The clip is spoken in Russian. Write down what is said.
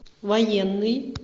военный